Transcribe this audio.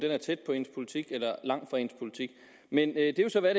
er tæt på ens politik eller langt fra ens politik men det er jo så hvad